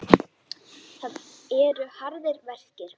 Það eru harðir verkir.